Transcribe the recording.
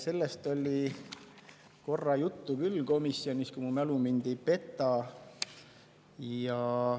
Sellest oli korra juttu küll komisjonis, kui mu mälu mind ei peta.